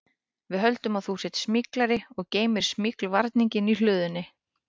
Við höldum að þú sért smyglari og geymir smyglvarninginn í hlöðunni